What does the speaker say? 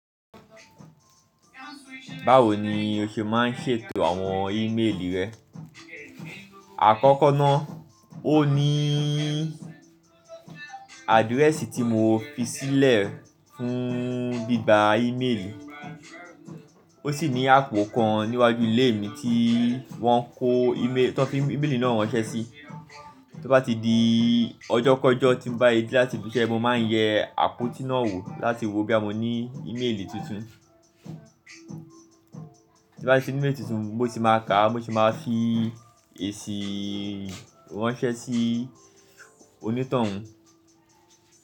Báwo ni o ṣe ma ń ṣètò àwọn ímeèlì rẹ? Àkọ́kọ́ ná, ó ní àdíréèsì tí mo fi sílẹ̀ fún bíbà ímeèlì, ó sì ní àpò kan níwájú ilé mi tí wọ́n fi ímeèlì náà ránṣẹ́ sí. Tí ó bá ti di ọjọ́ kọ̀ọ̀jọ́ tí mo bá yí láti fi ṣẹ́, mo má ń yẹ àpótí náà wò láti wo bí a mo ní ímeèlì tuntun. Tí bá ti ní ímeèlì tuntun, bó ti má a ká, mo sì má a fi èṣì ránṣẹ́ sí onítàn wùn.